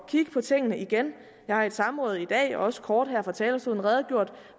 at kigge på tingene igen jeg har i et samråd i dag og også kort her fra talerstolen redegjort